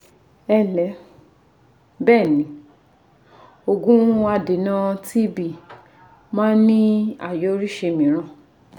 Ẹǹlẹ́, Bẹ́ẹ̀ni, òògùn adènà TB máà ń ní àyọrísí mìíràn